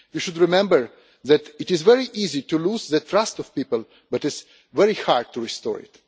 We should remember that it is very easy to lose the trust of people, but it is very hard to restore it.